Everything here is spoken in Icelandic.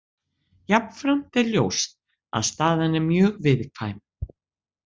Jafnframt er ljóst að staðan er mjög viðkvæm.